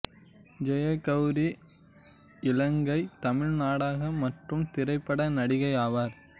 ஜெயகௌரி இலங்கைத் தமிழ் நாடக மற்றும் திரைப்பட நடிகை ஆவார்